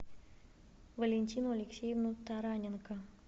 валентину алексеевну тараненко